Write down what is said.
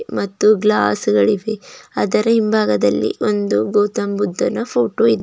ಮತ್ತು ಗ್ಲಾಸ್ಗ ಳಿವೆ ಅದರ ಹಿಂಭಾಗದಲ್ಲಿ ಒಂದು ಗೌತಮ್ ಬುದ್ದನ ಫೋಟೋ ಇ --